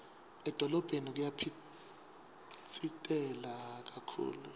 edolobheni kuyaphitsitela kakhulu